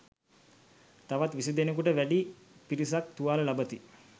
තවත් විසි දෙනෙකුට වැඩි පිරිසක් තුවාල ලබති.